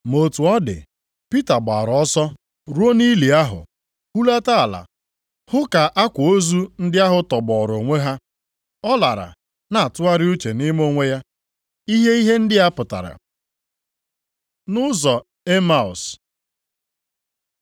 Ma otu ọ dị, Pita gbaara ọsọ ruo nʼili ahụ, hulata ala hụ ka akwa ozu ndị ahụ tọgbọọrọ onwe ha; ọ lara na-atụgharị uche nʼime onwe ya ihe ihe ndị a pụtara. Nʼụzọ Emaus